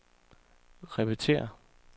repetér